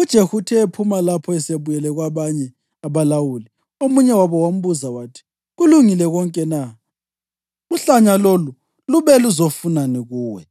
UJehu uthe ephuma lapho esebuyele kwabanye abalawuli, omunye wabo wambuza wathi, “Kulungile konke na? Uhlanya lolu lube luzofunani kuwe?”